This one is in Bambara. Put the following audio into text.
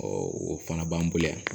o fana b'an bolo yan